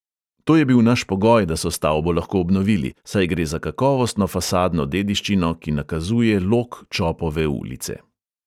To je bil naš pogoj, da so stavbo lahko obnovili, saj gre za kakovostno fasadno dediščino, ki nakazuje lok čopove ulice.